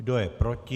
Kdo je proti?